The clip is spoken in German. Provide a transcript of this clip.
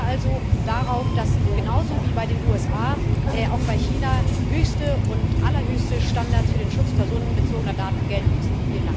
Bestehen wir also darauf, dass genauso wie bei den USA auch bei China höchste und allerhöchste Standards für den Schutz personenbezogener Daten gelten müssen!